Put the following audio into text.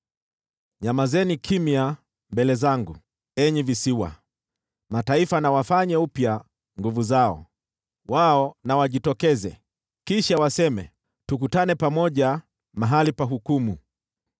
“Nyamazeni kimya mbele zangu, enyi visiwa! Mataifa na wafanye upya nguvu zao! Wao na wajitokeze, kisha waseme, tukutane pamoja mahali pa hukumu.